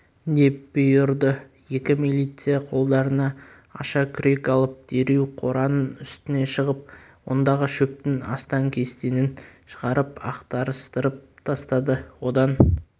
деп бұйырды екі милиция қолдарына аша күрек алып дереу қораның үстіне шығып ондағы шөптің астаң-кестеңін шығарып ақтарыстырып тастады одан